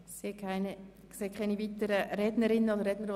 Es gibt keine weiteren Wortmeldungen.